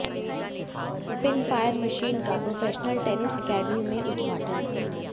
spin fire machine का professional tennis academy में उद्घाटन